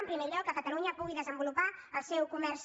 en primer lloc que catalunya pugui des·envolupar el seu comerç